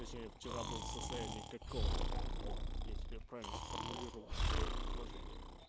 точнее вчера был в состоянии никаком вот я тебя правильно сформулировал своё предложение